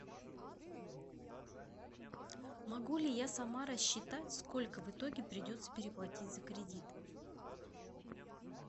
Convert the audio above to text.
могу ли я сама рассчитать сколько в итоге придется переплатить за кредит